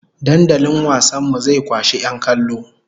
Dandalin wasan mu zai kwashi 'yan kallo!